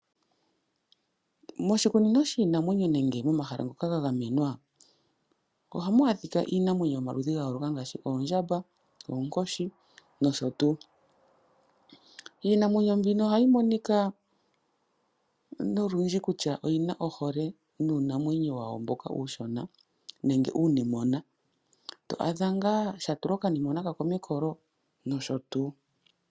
Moshikunino shiinanwenyo nenge momahala ngoka ga gamenwa ohamu adhika iinamwenyo yomaludhi ga yooloka ngaaashi oondjamba, oonkoshi nosho tuu. Iinamwenyo mbino ohayi monika olundji kutya oyina ohole nuunamwenyo mboka uushona nenge uunimona to adha ngaa sha tula okanimona kasho mekolo nosho tuu.